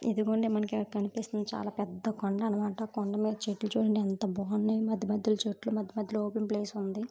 ఇదిగోండి మనకు ఇలా కనిపిస్తుంది. చాలా పెద్ద కొండ అన్నమాట. కొండ మీద చెట్లు చూడండి ఎంత బాగున్నాయి. మధ్య మధ్యలో చెట్లు మధ్య మధ్యలో ఓపెన్ ప్లేస్ ఉంది.